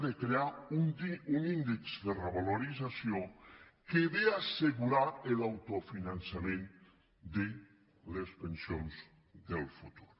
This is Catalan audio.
de crear un índex de revalorització que ve a assegurar l’autofinançament de les pensions del futur